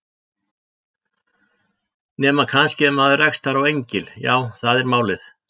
Nema kannski ef maður rekst þar á engil. já, það er málið.